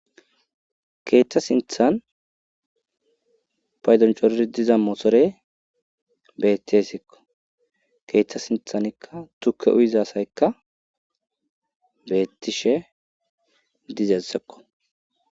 Keeththa sinthan paydoncoror diza moosore bettihesikko keethta sinthanikka tukke uyizasaykka beettishe dizessekko